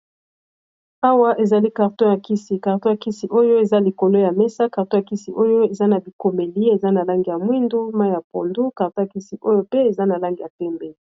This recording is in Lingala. Awa ezali carton ya nkisi carton ya kisi oyo eza likolo ya mesa carton ya kisi oyo eza na bikomeli eza na langi ya mwindu mayi ya pondu carton ya kisi oyo pe eza na langi ya pembe.